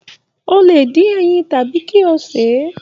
O lè dín ẹyin tàbí kí o sè é.